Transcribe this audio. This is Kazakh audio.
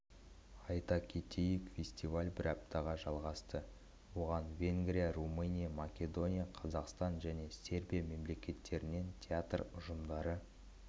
айта кетейік фестиваль бір аптаға жалғасты оған венгрия румыния македония қазақстан және сербия мемлекеттерінен театр ұжымдары